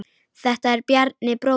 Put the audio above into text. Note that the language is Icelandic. Þetta er Bjarni, bróðir minn.